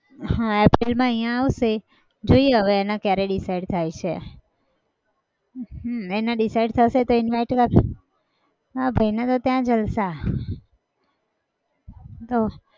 હા april માં અહિયાં આવશે. જોઈએ હવે એના કયારે decide થાય છે હમ એના decide થશે તો invite મારા ભાઈને તો ત્યાં જલસા તો.